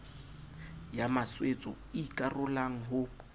ya maswetso e ikarolang ho